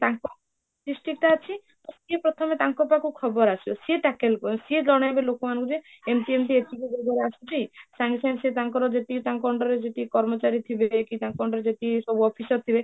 ତାଙ୍କ district ଟା ଅଛି ତ ସେ ପ୍ରଥମେ ତାଙ୍କ ପାଖକୁ ଖବର ଆସିବ ସେ ସେ ଜଣେଇବେ ଲୋକ ମାନଙ୍କୁ ଯେ ଏମିତି ଏମିତି ଆସୁଛି ସଙ୍ଗେ ସଙ୍ଗେ ସେ ତାଙ୍କର ଯେତିକି ତାଙ୍କର under ରେ ଯେତିକି କର୍ମଚାରୀଥିବେ କି ତାଙ୍କ under ରେ ଯେତିକି ସବୁ officer ଥିବେ